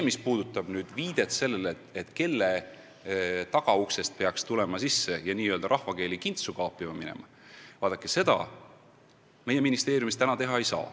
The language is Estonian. Mis puudutab küsimust, kelle tagauksest peaks sisse minema ja hakkama kintsu kaapima – vaadake, seda meie ministeeriumis praegu teha ei saa.